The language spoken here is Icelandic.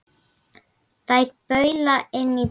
Þær baula inn í bæinn.